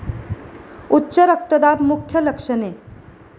उच्च रक्तदाब मुख्य लक्षणे